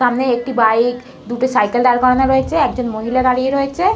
সামনে একটি বাইক দুটি সাইকেল দাঁড় করানো রয়েছে একজন মহিলার দাঁড়িয়ে রয়েছে।